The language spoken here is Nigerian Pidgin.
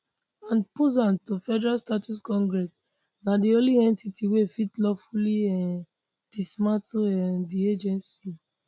and pursuant to federal statute congress na di only entity wey fit lawfully um dismantle um di agency